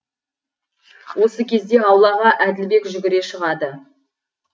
осы кезде аулаға әділбек жүгіре шығады